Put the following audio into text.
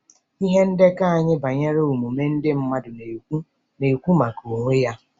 Ihe ndekọ anyị banyere omume ndị mmadụ na-ekwu na-ekwu maka onwe ya.